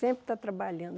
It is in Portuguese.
Sempre está trabalhando.